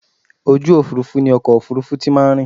Orí òfurufú ni ọkọ̀ òfurufú ti máa ń rìn.